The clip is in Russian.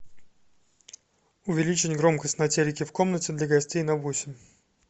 увеличить громкость на телике в комнате для гостей на восемь